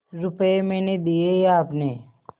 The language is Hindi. रुपये मैंने दिये या आपने